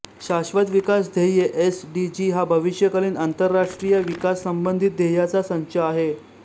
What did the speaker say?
शाश्वत विकास ध्येये एस डी जी हा भविष्यकालीन आंतरराष्ट्रीय विकास संबंधित ध्येयांचा संच आहे